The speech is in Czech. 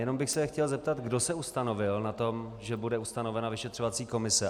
Jenom bych se chtěl zeptat, kdo se ustanovil na tom, že bude ustanovena vyšetřovací komise.